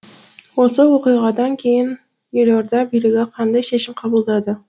осы оқиғадан кейін елорда билігі қандай шешім қабылдады